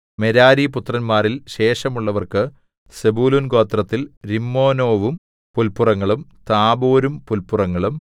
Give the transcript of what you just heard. മെരാരിപുത്രന്മാരിൽ ശേഷമുള്ളവർക്ക് സെബൂലൂൻഗോത്രത്തിൽ രിമ്മോനോവും പുല്പുറങ്ങളും താബോരും പുല്പുറങ്ങളും